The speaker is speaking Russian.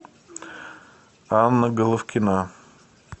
анна головкина